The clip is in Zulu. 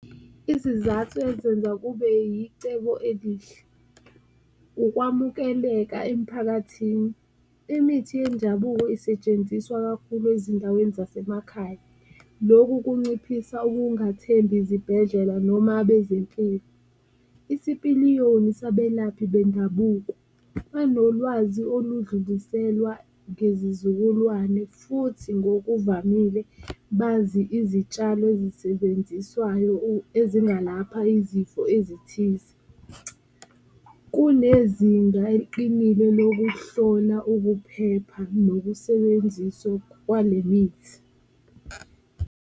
Izizathu ezenza kube yicebo elihle ukuwamukeleka emiphakathini, imithi yendabuko isetshenziswa kakhulu ezindaweni zasemakhaya, loku kunciphisa ukungathembi izibhedlela noma abezempilo. Isipiliyoni sabelaphi bendabuko, banolwazi oludluliselwa ngezizukulwane futhi ngokuvamile bazi izitshalo ezisebenziswayo ezingalapha izifo ezithize, kunezinga eliqinile lokuhlola ukuphepha nokusebenziswa kwale mithi.